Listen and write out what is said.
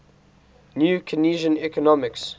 new keynesian economics